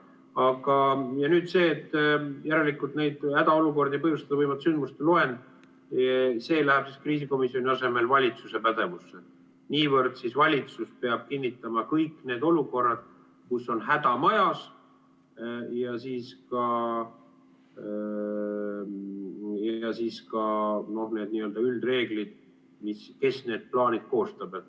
Aga nüüd see, et kuivõrd neid hädaolukordi põhjustada võivate sündmuste loend läheb kriisikomisjoni asemel valitsuse pädevusse, niivõrd siis valitsus peab kinnitama kõik need olukorrad, kus on häda majas, ja ka n‑ö üldreeglid, kes need plaanid koostab.